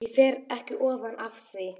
Ég fer ekki ofan af því.